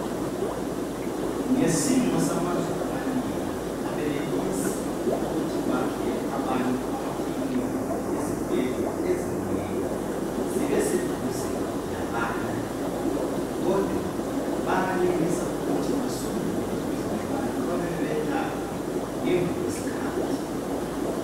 Ngesimo samazwe amanengi abenelisi ukuthi bakhele abantu amakilinika kumbe izibhedlela ezinengi zibe seduze labantu kodwa bayenelisa ukuthi basondele eduze labantu babe bebayelapha ngemva kwesikhathi.